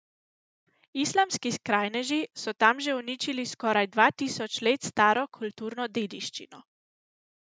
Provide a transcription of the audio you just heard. Islamski skrajneži so tam že uničili skoraj dva tisoč let staro kulturno dediščino.